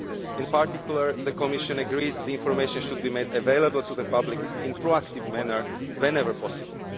In particular, the Commission agrees that the information should be made available to the public in a proactive manner whenever possible.